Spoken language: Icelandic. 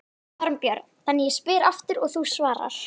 Þorbjörn: Þannig ég spyr aftur og þú svarar?